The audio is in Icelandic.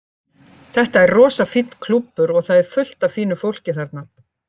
Þetta er rosa fínn klúbbur og það er fullt af fínu fólki þarna.